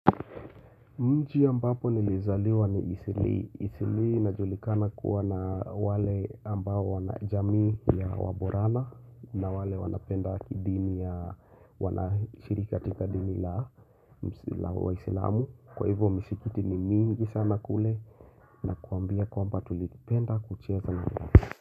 Mji ambapo nilizaliwa ni isili. Isili inajulikana kuwa na wale ambao wanajamii ya waborana na wale wanapenda kidini ya wanashiriki katika dini la wa islamu. Kwa hivyo misikiti ni mingi sana kule na kuambia kwamba tulikipenda kucheka.